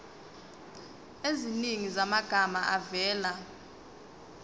eziningi zamagama avela